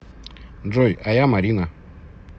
джой а я марина